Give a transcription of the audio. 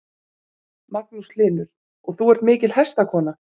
Magnús Hlynur: Og þú ert mikil hestakona?